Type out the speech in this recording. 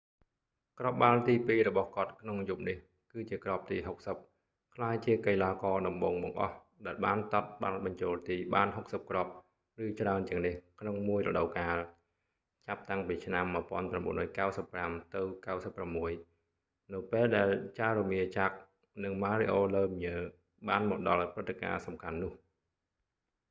គ្រាប់បាល់ទីពីររបស់គាត់ក្នុងយប់នេះគឺជាគ្រាប់ទី60 ក្លាយជាកីឡាករតំបូងបង្អស់ដែលបានទាត់បាល់បញ្ចូលទី​បាន 60គ្រាប់​ឬច្រើនជាងនេះក្នុងមួយរដូវកាល ចាប់តាំងពីឆ្នាំ​1995-96 នៅពេលដែល jaromir jagr និង mario lemieux បានមកដល់ព្រឹត្ដការណ៍សំខាន់នោះ។